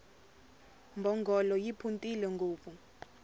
mbhongolo yi phuntile ngopfu